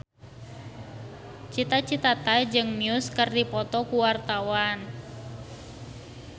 Cita Citata jeung Muse keur dipoto ku wartawan